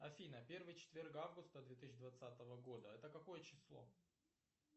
афина первый четверг августа две тысячи двадцатого года это какое число